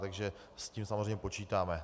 Takže s tím samozřejmě počítáme.